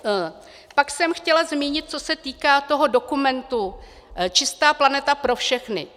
Pak jsem chtěla zmínit, co se týká toho dokumentu Čistá planeta pro všechny.